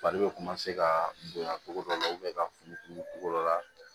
Fari bɛ ka bonya cogo dɔ la ka futuru togo la